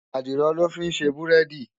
Àdìrò lò fin sé búrèdí